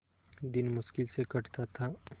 दिन मुश्किल से कटता था